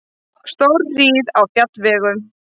Stórhríð á fjallvegum